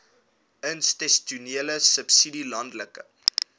institusionele subsidie landelike